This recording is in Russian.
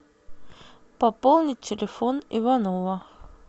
пополнить телефон иванова